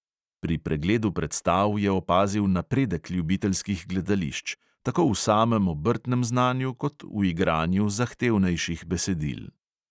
Pri pregledu predstav je opazil napredek ljubiteljskih gledališč – tako v samem obrtnem znanju kot v igranju zahtevnejših besedil.